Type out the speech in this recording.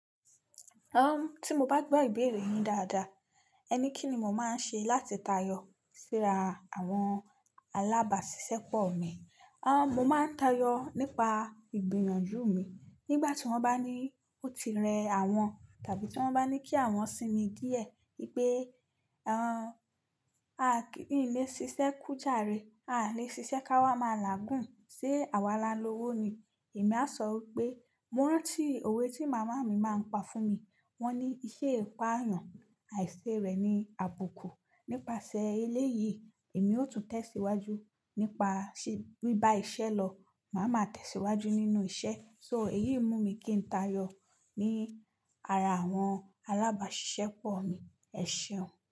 Tí mo bá gbọ́ ìbéèrè yín dáadáa, ẹ ní kí ni mo máa ń ṣe láti tayọ síra àwọn alábàáṣiṣẹ́pọ̀ mi. Mo máa ń tayọ nípa ìgbìyànjú mi nígbà tí wọ́n bá ní ó ti rẹ àwọn, tàbí tí wọ́n bá ní kí àwọn sinmi díẹ̀ wípé "òún, a kì n lè ṣiṣẹ́ kú jàre, a lè ṣiṣẹ́ ká wà máa làágùn se àwa lálowo ni". Èmi á sọ wípé, mo rántí òwe tí màmá mi máa ń pa fún mi. Wọ́n ní, "iṣẹ́ ìpá èèyàn àìṣe rẹ̀ ni àbùkù". Nípasẹ̀ eléyìí, èmi ó tún tẹ̀síwájú nípa sẹ̀ bíbá iṣẹ́ lọ. Màá ma tẹ̀síwájú nínú iṣẹ́. So èyí mú mi kí n tayọ ní ara àwọn alábàáṣiṣẹ́pọ̀ mi. Ẹ ṣeun.